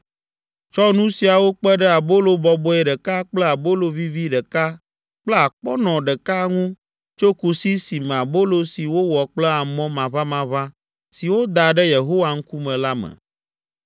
Tsɔ nu siawo kpe ɖe abolo bɔbɔe ɖeka kple abolo vivi ɖeka kple akpɔnɔ ɖeka ŋu tso kusi si me abolo si wowɔ kple amɔ maʋamaʋã si woda ɖe Yehowa ŋkume la me.